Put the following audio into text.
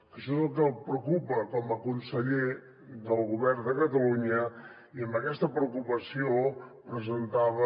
que això és el que el preocupa com a conseller del govern de catalunya i amb aquesta preocupació presentava